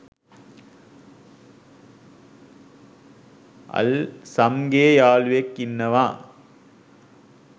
අල්සම්ගේ යාලුවෙක් ඉන්නවා